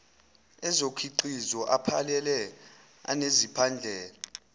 ezokhiqizo aphelele anezindlela